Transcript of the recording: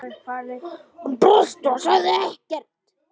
Hún brosti en sagði ekkert.